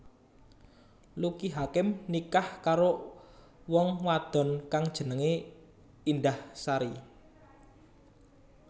Lucky Hakim nikah karo wong wadon kang jenengé Indahsari